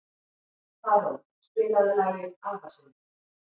Tarón, spilaðu lagið „Afasöngur“.